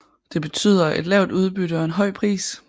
Det betyder et lavt udbytte og en høj pris